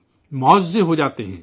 کرشمے ہوجاتے ہیں